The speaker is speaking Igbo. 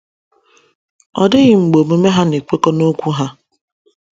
Ọ dịghị mgbe omume ha na - ekwekọ n’okwu ha.